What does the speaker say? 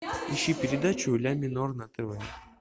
ищи передачу ля минор на тв